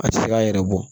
A tɛ se k'a yɛrɛ bɔ